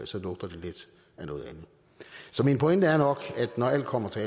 så lugter det lidt af noget andet så min pointe er nok at når alt kommer til